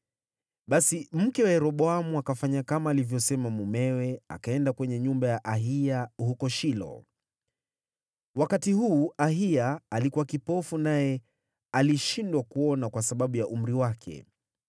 Basi mke wa Yeroboamu akafanya kama alivyosema mumewe, akaenda kwenye nyumba ya Ahiya huko Shilo. Wakati huu Ahiya alikuwa kipofu naye alishindwa kuona kwa sababu ya umri wake.